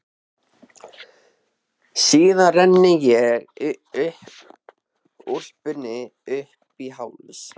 Síðan renni ég úlpunni upp í háls.